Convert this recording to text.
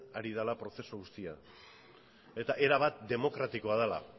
ari dala prozesu guztia eta erabat demokratikoa dala